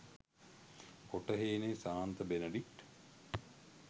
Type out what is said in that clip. කොටහේනේ ශාන්ත බෙඩනඩික්ට්,